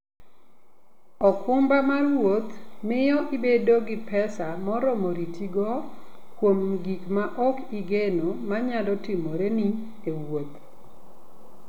okumba mar wuoth miyo ibedo gi pesa moromo ritigo kuom gik ma ok igeno ma nyalo timoreni e wuoth.